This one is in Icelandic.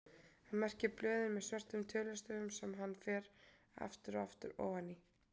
Hann merkir blöðin með svörtum tölustöfum sem hann fer aftur og aftur ofan í.